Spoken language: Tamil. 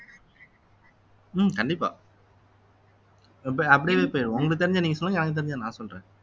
உம் கண்டிப்பா அப்படியே போயிருவோம் உங்களுக்குத் தெரிஞ்சதை நீங்க சொல்லுங்க எனக்குத் தெரிஞ்சதை நான் சொல்றேன்